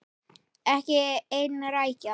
Ekki ein rækja.